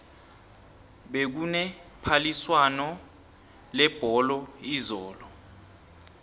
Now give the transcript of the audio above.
bekune phaliswano lebholo izolo